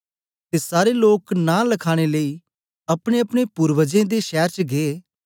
ते सारे लोक नां लखाने लेई अपनेअपने पूर्वजे दे शैर च गै